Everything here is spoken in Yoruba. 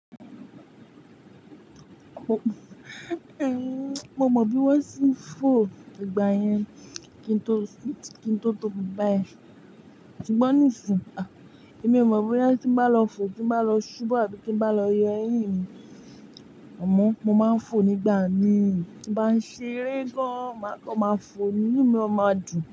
Mo mọ bí wọ́n ṣe ń fò nígbà yẹn kí n tó tóbi báyìí. Ṣùgbọ́n nisin èmi o mọ bóyá tí n ba lọ fo, tin ba lọ ṣubú àbí ti n ba lọ yọ eyin mi amọ́, mo máa ń fò nígbà mi. Tí n bá ń ṣeré gan, máa kan ma fò ni inu mí ó máa dùn.